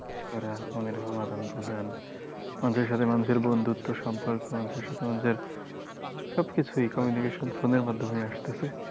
মনের ভাব, আদান প্রদান মানুষের সাথে মানুষের বন্ধুত্ব সম্পর্ক মানুষের সাথে মানুষের সবকিছুই communication phone এর মাধ্যমে আসতে আছে।